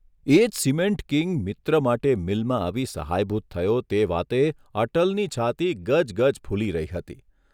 એ જ ' cement king ' મિત્ર માટે મિલમાં આવી સહાયભૂત થયો તે વાતે અટલની છાતી ગજગજ ફૂલી રહી હતી.